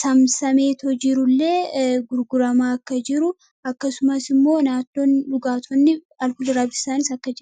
samsameetu jiruu illee gurguramaa akka jiruu. Akkasumaas illee naannoo dhugaattiwwaan alkolii irra bilisa akka jiraan.